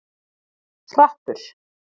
Hrappur